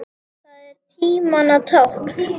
Það er tímanna tákn.